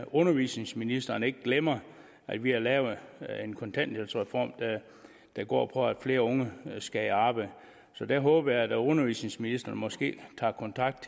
undervisningsministeren ikke glemmer at vi har lavet en kontanthjælpsreform der går på at flere unge skal i arbejde så der håber jeg da at undervisningsministeren måske tager kontakt